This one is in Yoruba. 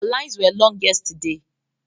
The lines were long yesterday